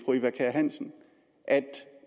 eva kjer hansen at